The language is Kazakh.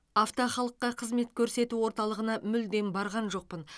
авто халыққа қызмет көрсету орталығына мүлдем барған жоқпын